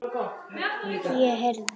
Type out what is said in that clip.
Ég heyrði.